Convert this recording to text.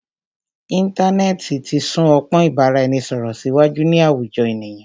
Íntanẹ́ẹ̀ti ti sún ọpọ́n ìbáraẹnisọ̀rọ̀ síwájú ní àwùjọ ènìyàn.